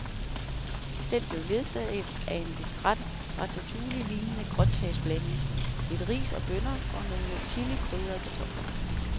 Den blev ledsaget af en lidt træt ratatouillelignende grøntsagsblanding, lidt ris og bønner og nogle chilikrydrede kartofler.